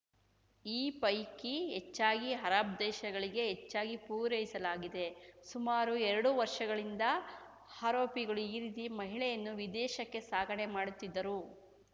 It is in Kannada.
ಈ ಪೈಕಿ ಹೆಚ್ಚಾಗಿ ಅರಬ್‌ ದೇಶಗಳಿಗೆ ಹೆಚ್ಚಾಗಿ ಪೂರೈಸಲಾಗಿದೆ ಸುಮಾರು ಎರಡು ವರ್ಷಗಳಿಂದ ಆರೋಪಿಗಳು ಈ ರೀತಿ ಮಹಿಳೆಯನ್ನು ವಿದೇಶಕ್ಕೆ ಸಾಗಾಣೆ ಮಾಡುತ್ತಿದ್ದರು